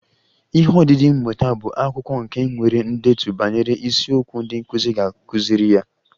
Ihe odide mmụta bụ akwụkwọ nke nwere ndetu banyere isiokwu ndị nkụzi ga-akụziri ya